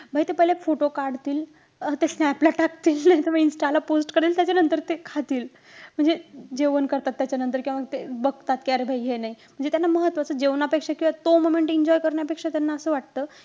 बई ते पहिले photo काढतील. अं ते snap ला टाकतील. नाहीतर मग insta ला post करेल. त्याच्या नंतर ते खातील. म्हणजे जेवण करतात त्याच्यानंतर किंवा ते बघतात कि अरे हे नाही. म्हणजे त्यांना महत्वाचं जेवणापेक्षा किंवा तो moment enjoy करण्यापेक्षा त्यांना असं वाटतं.